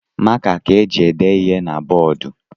Maka ka eji ede ihe na bọọdụ